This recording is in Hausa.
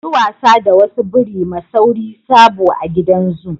Mu yi wasa da wasu biri ma sauri sabo a gidan zoo.